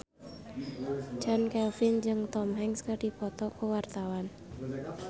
Chand Kelvin jeung Tom Hanks keur dipoto ku wartawan